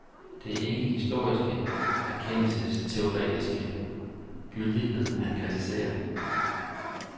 Det er ikke historiens erkendelsesteoretiske gyldighed, han kritiserer.